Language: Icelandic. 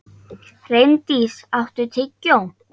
Reyndís, áttu tyggjó?